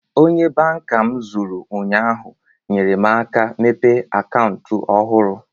Onye banka m zụrụ ụnyaahụ, nyere m aka mepee akantu ọhụrụ